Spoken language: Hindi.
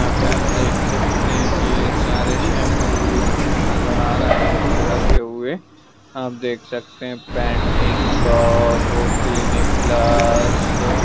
यहां पे आप देख सकते हैं की सारे शैम्पू यहां पे नजर आ रहे हुए हैं रखे हुए आप देख सकते हैंपेन्टीन डव क्लिनिक प्लस --